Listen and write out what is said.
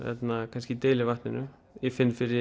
kannski deili vatninu ég finn fyrir